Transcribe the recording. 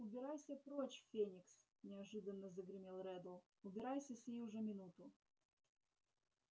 убирайся прочь феникс неожиданно загремел реддл убирайся сию же минуту